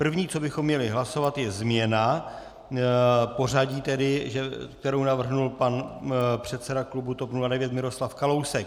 První, co bychom měli hlasovat, je změna pořadí, kterou navrhl pan předseda klubu TOP 09 Miroslav Kalousek.